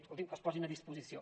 escolti’m que es posin a disposició